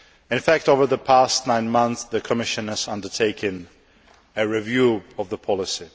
In fact, over the past nine months, the Commission has undertaken a review of the policy.